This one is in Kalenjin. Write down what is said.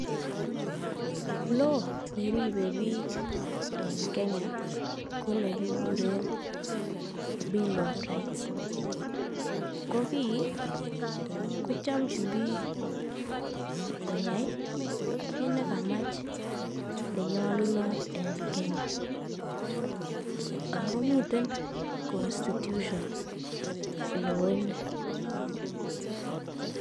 Law neribe biik en kenya konekikuren bill of rights, ko kii kochomchin biik koyai kiit nekamach koyai nenyolunot en Kenya, ak komiten constitution law inii.